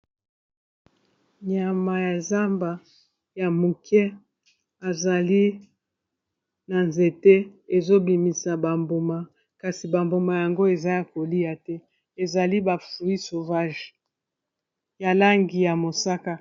Nyama ya zamba ya muke ezali na nzete ezobimisa ba mbuma, kasi bambuma yango eza ya kolia te ezali bafruit sauvage ya langi ya mosaka.